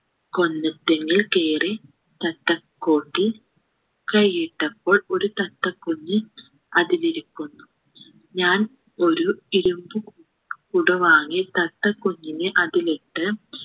കൊന്ന തെങ്ങിൽ കേറി തത്തക്കൂട്ടിൽ കയ്യിട്ടപ്പോൾ ഒരു തത്തക്കുഞ്ഞു അതിലിരിക്കുന്നു ഞാൻ ഒരു ഇരുമ്പ് കൂടു വാങ്ങി തത്തക്കുഞ്ഞിനെ അതിലിട്ട്